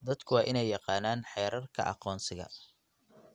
Dadku waa inay yaqaanaan xeerarka aqoonsiga.